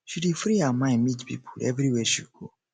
she dey free her mind meet pipo everywhere she go